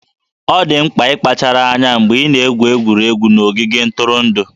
Ọ dị mkpa ịkpachara anya mgbe ị na-egwu egwuregwu n'ogige ntụrụndụ